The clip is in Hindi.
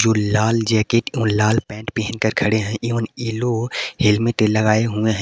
जो लाल जैकेट एवं लाल पैंट पहनकर खड़े हैं एवं एलो हेलमेट लगाए हुए हैं।